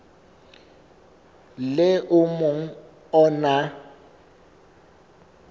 le o mong o na